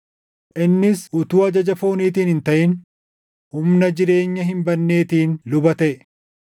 innis utuu ajaja fooniitiin hin taʼin humna jireenya hin badneetiin luba taʼe.